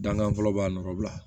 Dankan fɔlɔ b'a nɔgɔ bila